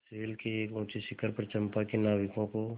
शैल के एक ऊँचे शिखर पर चंपा के नाविकों को